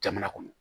Jamana kɔnɔ